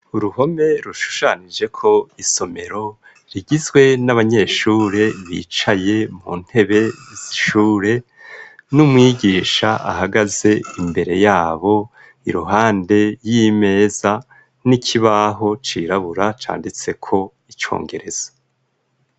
Uruhome rushushanijeko isomero rigizwe n'abanyeshure bicaye mu ntebe shure n'umwigisha ahagaze imbere yabo iruhande y'imeza n'ikibaho cirabura canditseko icongerezo.